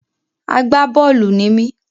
Àgbá-bọ́ọ̀lù ni mí